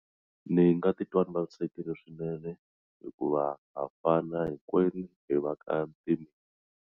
Ni nga titwa ni vavisekile swinene hikuva ha fana hinkwenu hi va ka .